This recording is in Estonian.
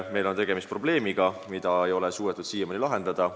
Meil on tegemist probleemiga, mida ei ole suudetud siiamaani lahendada.